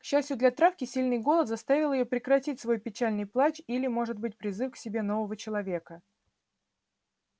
к счастью для травки сильный голод заставил её прекратить свой печальный плач или может быть призыв к себе нового человека